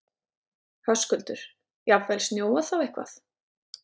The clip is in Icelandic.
Höskuldur: Jafnvel snjóað þá eitthvað?